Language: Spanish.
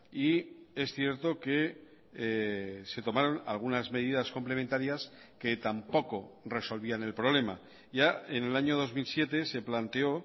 y es cierto que se tomaron algunas medidas complementarias que tampoco resolvían el problema ya en el año dos mil siete se planteó